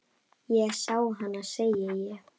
Ég sá hana, segi ég.